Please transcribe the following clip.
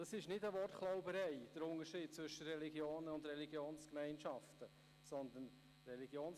Zwischen Religionen und Religionsgemeinschaften zu unterscheiden, ist keine Wortklauberei.